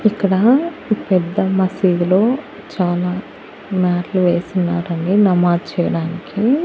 ఇక్కడా పెద్ద మసీదులో చాలా మ్యాట్లు వేసున్నారండి నమాజ్ చేయడానికీ.